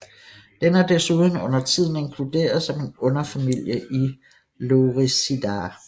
Den er desuden undertiden inkluderet som en underfamilie i Lorisidae